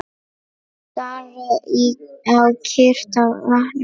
Stari á kyrrt vatnið.